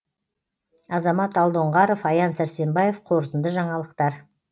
азамат алдоңғаров аян сәрсенбаев қорытынды жаңалықтар